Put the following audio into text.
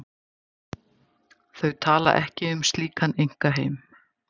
Þau tala ekki um slíkan einkaheim.